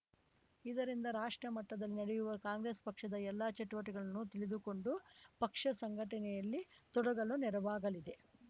ಇದರಿಂದ ರಾಷ್ಟ್ರ ಮಟ್ಟದಲ್ಲಿ ನಡೆಯುವ ಕಾಂಗ್ರೆಸ್‌ ಪಕ್ಷದ ಎಲ್ಲ ಚಟುವಟಿಕೆಗಳನ್ನು ತಿಳಿದುಕೊಂಡು ಪಕ್ಷ ಸಂಘಟನೆಯಲ್ಲಿ ತೊಡಗಲು ನೆರವಾಗಲಿದೆ